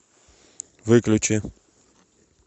выключи